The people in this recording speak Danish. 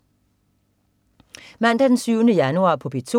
Mandag den 7. januar - P2: